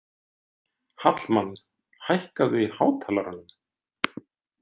Hallmann, hækkaðu í hátalaranum.